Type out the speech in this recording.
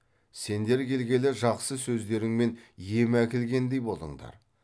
сендер келгелі жақсы сөздеріңмен ем әкелгендей болыңдар